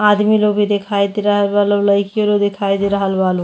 आदमी लोग भी दिखाई दे रहल बा लोग। लइके लोग दिखाई दे रहल बा लोग।